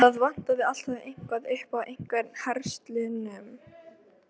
Baddi horfði á eftir kagganum í hrifningarvímu.